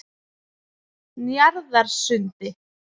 Njarðarsundi